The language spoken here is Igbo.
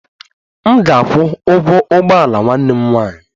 M ga-akwụ ụgwọ ụgbọ ala nwanne m nwanyị